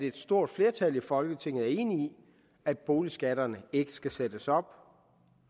et stort flertal i folketinget som er enig i at boligskatterne ikke skal sættes op